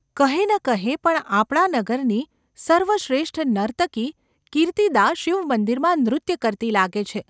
કહે ન કહે પણ આપણા નગરની સર્વશ્રેષ્ઠ નર્તકી કીર્તિદા શિવમંદિરમાં નૃત્ય કરતી લાગે છે.